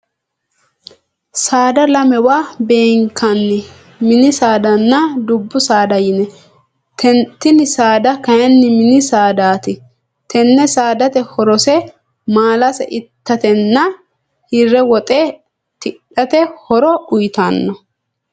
Saada lamewa beenkanni minni saadanna dubu saada yinne. Tinni saada kayinni minni saadaati. Tenne saadati horose maalase itatenna hire woxe tidhate horo uyitano.